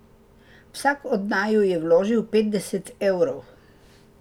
Vsak od naju je vložil petdeset evrov.